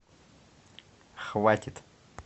хватит